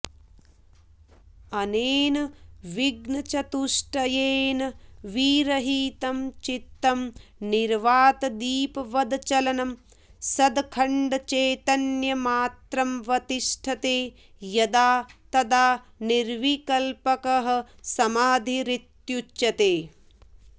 अनेन विघ्नचतुष्टयेन विरहितं चित्तं निर्वातदीपवदचलं सदखण्डचैतन्यमात्रमवतिष्ठते यदा तदा निर्विकल्पकः समाधिरित्युच्यते